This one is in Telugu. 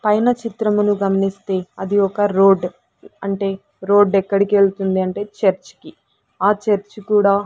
పైన చిత్రమును గమనిస్తే అది ఒక రోడ్ అంటే రోడ్ ఎక్కడికి వెళ్తుంది అంటే చర్చ్ కి ఆ చర్చ్ కూడా.